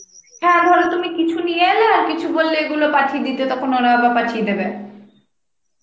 হ্যাঁ ধর তুমি কিছু নিয়ে এলে আর কিছু বললে এগুলো পাঠিয়ে দিতে, তখন ওরা আবার পাঠিয়ে দেবে